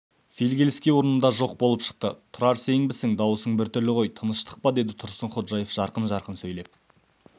фигельский орнында жоқ болып шықты тұрар сенбісің даусың біртүрлі ғой тыныштық па деді тұрсынходжаев жарқын-жарқын сөйлеп